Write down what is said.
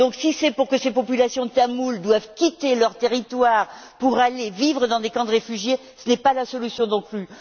Si c'est pour que ces populations tamoules doivent quitter leur territoire pour aller vivre dans des camps de réfugiés, ce n'est pas la solution non plus.